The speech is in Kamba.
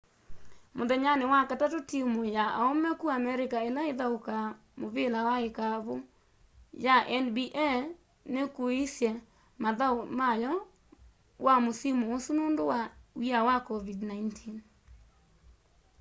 muthenyani wa wakatatu timu ya aume ku america ila ithaukaa muvila wa ikavu ya nba nikuiiisye mathau mayo wa musimu usu nundu wa w'ia wa covid-19